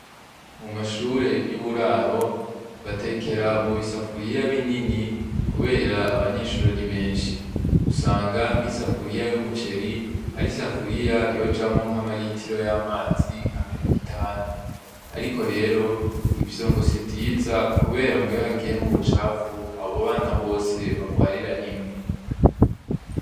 Mu mashure y'uburaro batekera mu bisafuriya binini kubera abanyeshure ari benshi, usanga nk'isafuriya y'umuceru ari isafuriya yojamwo nk'amaritiro y'amazi nka mirongo itanu, ariko rero ivyo ngo sivyiza kubera ngo iyo hagiyemwo ubucafu abo bana bose barwarira rimwe.